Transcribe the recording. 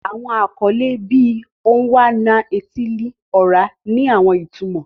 Awọn akọle, bii Onwa-na-etili-ora, ni awọn itumọ.